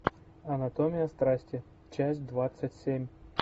анатомия страстия часть двадцать семь